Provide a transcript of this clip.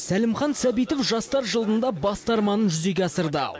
сәлімхан сәбитов жастар жылында басты арманын жүзеге асырды